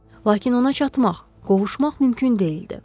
Lakin ona çatmaq, qovuşmaq mümkün deyildi.